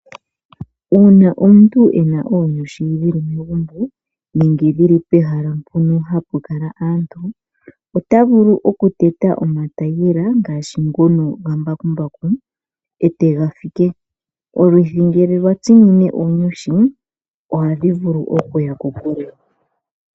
Una omuntu ena onyushi dhili megumbo nenge dhili pehala pono hapukala aantu ota vulu okuteya oma tayiyela ngashi ngono gambakumbaku etagafike, olwithi ngele lwatsinine oonyushi oha dhivulu okuya kokule.